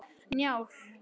Njáll